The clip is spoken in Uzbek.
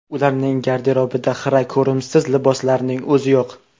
Ularning garderobida xira, ko‘rimsiz liboslarning o‘zi yo‘q.